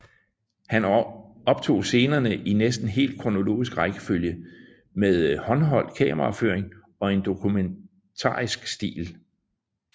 Han optog scenerne i næsten helt kronologisk rækkefølge med håndholdt kameraføring i en dokumentarisk stil